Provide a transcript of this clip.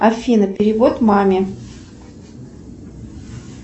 афина перевод маме